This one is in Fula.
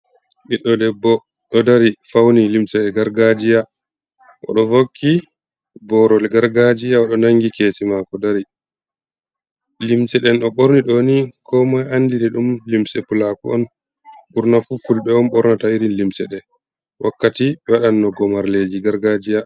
Ɓiɗɗo debbo ɗo dari, fauni limse e gargajiya o ɗo vakki borol gargajiya o ɗo nangi keesi mako dari. Limse ɗen o ɓorni ɗo ni komoi andiri ɗum limse pulaku on. Ɓurna fu fulbe on ɓornata irin limse ɗe wakkati ɓe waɗanno gomarleji gargajiya.